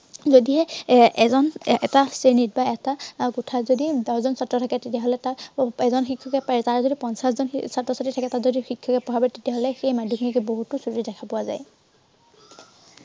যদিহে এৰ এজন এটা শ্ৰেণীত বা এটা আহ কোঠাত যদি দহজন ছাত্ৰ থাকে, তেতিয়া হ'লে তাত এজন শিক্ষকে পাৰে। তাত যদি পঞ্চাশজন ছাত্ৰ-ছাত্ৰী থাকে, তাত যদি শিক্ষকে পঢ়াব তেতিয়া হলে সেই মাধ্য়মিকত বহুতো ক্ৰতি দেখা পোৱা যায়।